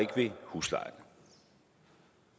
ved huslejen